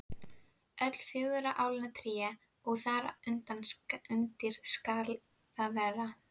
Öll fjögurra álna tré og þar undir skal það vera.